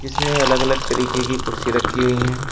इसमें अलग अलग तरीके की कुर्सी रखी हुई है।